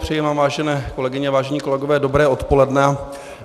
Přeji vám, vážené kolegyně a vážení kolegové, dobré odpoledne.